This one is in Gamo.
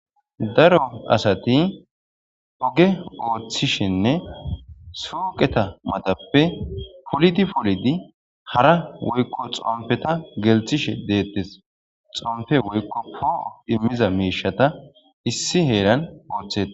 daro asati oge ooththishenne suuqeta matappe polidi polidi hara woykko xompeta gelthishe deettes xompe woykko pooo immiza miishata issi heeran ooththea